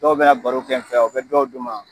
Dɔw bɛ na baro kɛ n fɛ yan,u be dɔw duman .